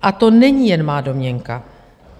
A to není jen má domněnka.